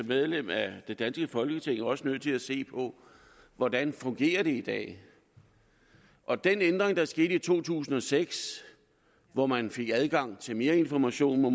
medlem af det danske folketing også nødt til at se på hvordan det fungerer i dag og den ændring der skete i to tusind og seks hvor man fik adgang til mere information må